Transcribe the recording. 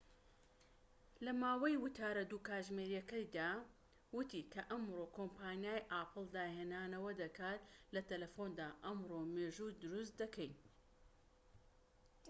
لەماوەی وتارە ٢ کاتژمێریەکەیدا، وتی کە ئەمڕۆ کۆمپانیای ئاپڵ داهێنانەوە دەکات لە تەلەفوندا، ئەمڕۆ مێژوو دروست دەکەین